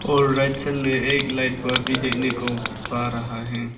और right side में एक लाइट पर भी देखने को पा रहा है।